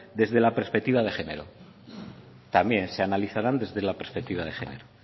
desde la perspectiva de género también se analizarán desde la perspectiva de género